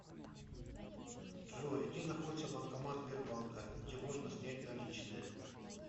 джой где находится банкомат сбербанка где можно снять наличные